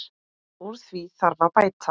Úr því þarf að bæta.